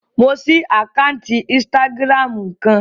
Mo ṣí àkáǹtì ínstágíráàmù kan